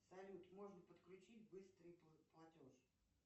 салют можно подключить быстрый платеж